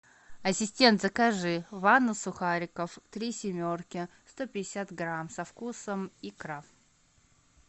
ассистент закажи ванну сухариков три семерки сто пятьдесят грамм со вкусом икра